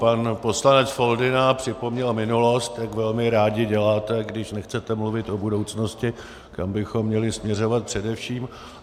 Pan poslanec Foldyna připomněl minulost, jak velmi rádi děláte, když nechcete mluvit o budoucnosti, kam bychom měli směřovat především.